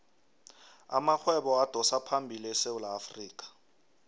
amarhwebo adosaphambili esewula afrikha